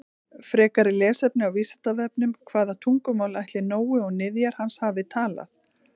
Frekara lesefni á Vísindavefnum: Hvaða tungumál ætli Nói og niðjar hans hafi talað?